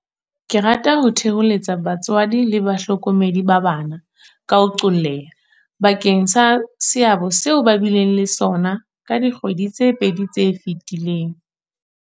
Ke rata ho thoholetsa batswadi le bahlokomedi ba bana, ka ho qolleha, bakeng sa seabo seo ba bileng le sona ka dikgwedi tse pedi tse fetileng.